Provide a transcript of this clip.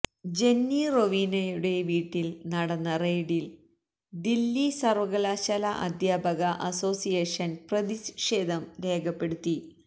Jenny റൊവീനയുടെ വീട്ടിൽ നടന്ന റെയിഡിൽ ദില്ലി സർവ്വകലാശാ അദ്ധ്യാപക അസോസിയേഷൻ പ്രതിഷേധം രേഖപ്പെടുത്തി